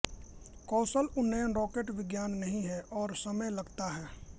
कौशल उन्नयन रॉकेट विज्ञान नहीं है और समय लगता है